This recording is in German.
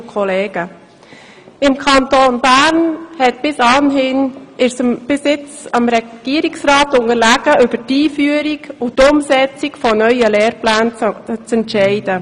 Im Kanton Bern oblag es bisher dem Regierungsrat, über die Einführung und Umsetzung von neuen Lehrplänen zu entscheiden.